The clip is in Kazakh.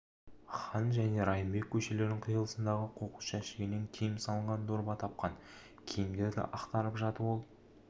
хан және райымбек көшелерінің қиылысындағы қоқыс жәшігінен киім салынған дорба тапқан киімдерді ақтарып жатып ол